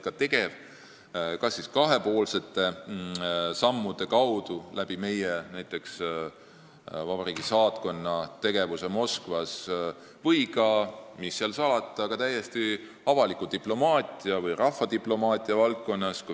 Eesti on võtnud ette kas kahepoolseid samme näiteks meie vabariigi saatkonna tegevuse kaudu Moskvas või, mis seal salata, olnud tegev ka täiesti avaliku diplomaatia või rahvadiplomaatia kaudu.